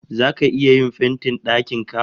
Zaka iya yin fentin dakin ka?